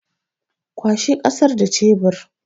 Kwashe ƙasar da cebir